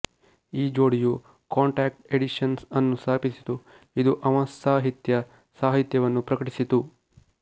ಈ ಜೋಡಿಯು contact editions ಅನ್ನು ಸ್ಥಾಪಿಸಿತು ಇದು ಅವಂತ್ಸಾಹಿತ್ಯ ಸಾಹಿತ್ಯವನ್ನು ಪ್ರಕಟಿಸಿತು